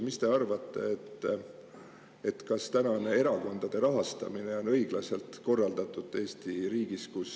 Mis te arvate, kas tänane erakondade rahastamine on Eesti riigis õiglaselt korraldatud?